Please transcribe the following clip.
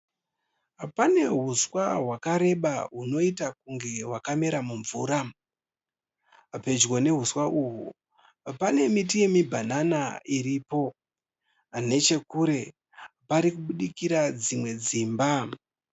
Pane huswa hwakareba hunoita kunge hwakamera mumvura. Pedyo nehuswa uhwu panemiti yemibhanana iripo. Nechekure pane parikubudikira dzimwe dzimba.